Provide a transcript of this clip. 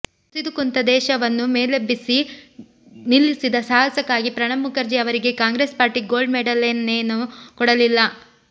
ಕುಸಿದು ಕುಂತ ದೇಶವನ್ನು ಮೇಲೆಬ್ಬಿಸಿ ನಿಲ್ಲಿಸಿದ ಸಾಹಸಕ್ಕಾಗಿ ಪ್ರಣಬ್ ಮುಖರ್ಜಿ ಅವರಿಗೆ ಕಾಂಗ್ರೆಸ್ ಪಾರ್ಟಿ ಗೋಲ್ಡ್ ಮೆಡಲನ್ನೇನೂ ಕೊಡಲಿಲ್ಲ